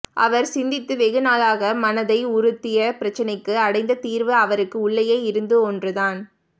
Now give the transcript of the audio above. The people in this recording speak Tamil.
அவர் சிந்தித்து வெகு நாளாக மனதை உறுத்திய பிரச்சனைக்கு அடைந்த தீர்வு அவருக்கு உள்ளேயே இருந்த ஒன்று தான்